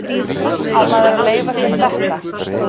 Á maður að leyfa sér þetta?